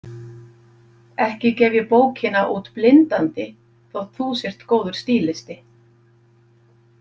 Ekki gef ég bókina út blindandi þótt þú sért góður stílisti.